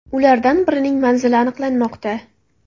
Ulardan birining manzili aniqlanmoqda.